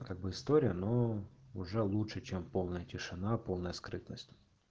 как бы история но уже лучше чем полная тишина полная скрытность